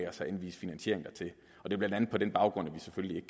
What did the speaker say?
at anvise finansiering dertil det er blandt andet på den baggrund at vi selvfølgelig